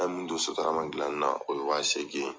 An ye min don sotarama dilan na, o ye wa segin ye.